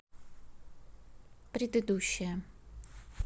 предыдущая